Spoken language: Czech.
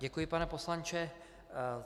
Děkuji, pane poslanče.